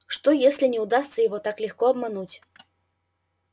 что если не удастся его так легко обмануть